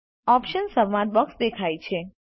options સંવાદ box દેખાય છે